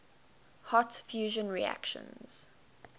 hot fusion reactions